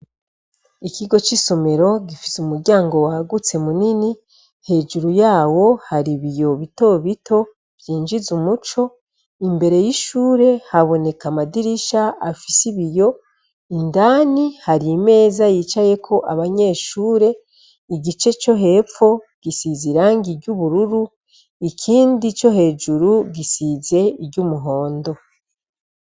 Ikigo c'isomero gifise umuryango wagutse mu nini hejuru yawo hari ibiyo bitobito vyinjiza umuco imbere y'ishure haboneka amadirisha afise ibiyo indani hari imeza yicayeko abanyeshure igice co hepfo gisize irangi iry’ubururu ikindi co hejuru gisize iry’umuhondo.